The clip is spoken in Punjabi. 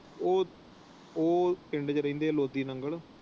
ਉਹ ਪਿੰਡ ਵਿੱਚ ਰਹਿੰਦੇ ਹੈ ਲੋਧੀ ਨੰਗਲ।